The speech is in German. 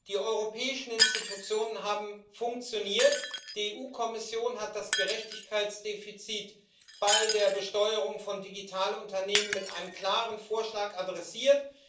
Die europäischen Institutionen haben funktioniert, die EU Kommission hat das Gerechtigkeitsdefizit bei der Besteuerung von Digitalunternehmen mit einem klaren Vorschlag adressiert.